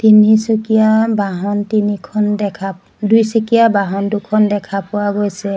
তিনিচকীয়া বাহন তিনিখন দেখা দুইচকীয়া বাহন দুখন দেখা পোৱা গৈছে।